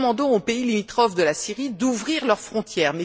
Nous demandons aux pays limitrophes de la Syrie d'ouvrir leurs frontières.